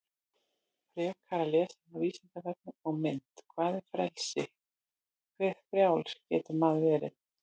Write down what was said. Frekara lesefni á Vísindavefnum og mynd Hvað er frelsi, hve frjáls getur maður verið?